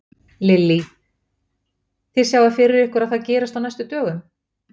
Lillý: Þið sjáið fyrir ykkur að það gerist á næstu dögum?